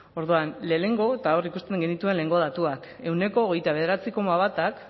orduan lehenengo eta hor ikusten genituen lehengo datuak ehuneko hogeita bederatzi koma batak